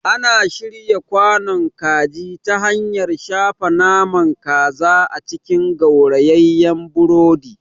Ana shirya kwanon kaji ta hanyar shafa naman kaza a cikin gaurayeyen burodi.